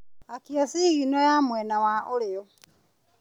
Akia cigino ya mwena wa ũrĩo.